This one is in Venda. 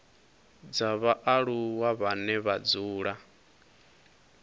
dza vhaaluwa vhane vha dzula